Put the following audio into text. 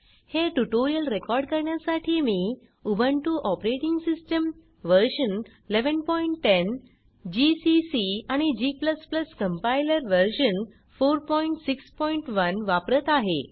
हे tutorial record करण्यासाठी मी Ubuntu operating system version 1110 GCC आणि g कंपाइलर व्हर्शन 461 वापरत आहे